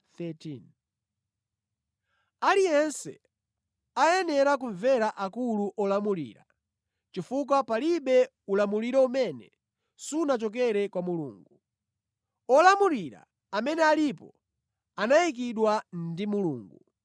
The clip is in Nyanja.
Aliyense ayenera kumvera akulu olamulira, chifukwa palibe ulamuliro umene sunachokere kwa Mulungu. Olamulira amene alipo anayikidwa ndi Mulungu.